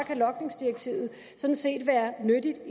kan logningsdirektivet sådan set være nyttigt jeg